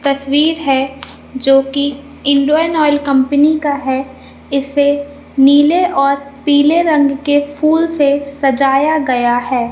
तस्वीर हैं जो की इंडियन ऑयल कंपनी का है इससे नीले और पीले रंग के फूलों से सजाया गया हैं।